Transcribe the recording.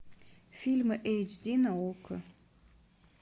фильмы эйч ди на окко